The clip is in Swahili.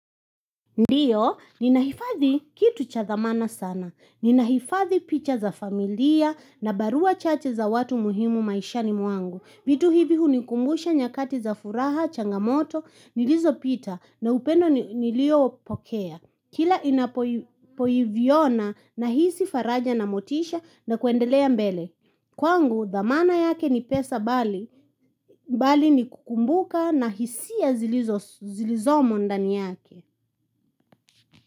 Ndiyo, ninahifadhi kitu cha thamana sana. Ninaifadhi picha za familia na barua chache za watu muhimu maishani mwangu. Vitu hivi hunikumbusha nyakati za furaha, changamoto, nilizopita na upendo niliopokea. Kila inapoviona nahisi faraja na motisha na kuendelea mbele. Kwangu, thamana yake ni pesa, bali ni kukumbuka na hisia zilizomo ndani yake.